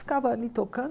Ficava ali tocando.